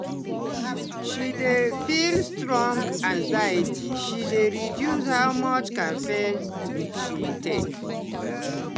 when she dey feel strong anxiety she dey reduce how much caffeine she take.